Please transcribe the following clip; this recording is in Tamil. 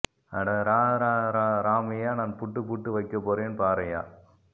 அட ரா ரா ரா ராமையா நான் புட்டு புட்டு வைக்க போறேன் பாரையா